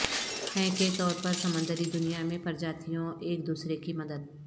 ہیں کے طور پر سمندری دنیا میں پرجاتیوں ایک دوسرے کی مدد